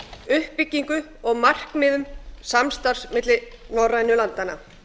uppbyggingu og markmiðum samstarfs milli norrænu landanna